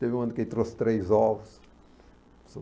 Teve um ano que ele trouxe três ovos para o seu